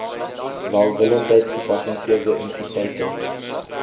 welwillendheid gepatenteerde entiteite